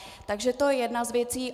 Takže to je jedna z věcí.